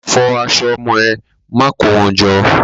Fọ aṣọ ọmọ ẹ. Má kó wọn jọ!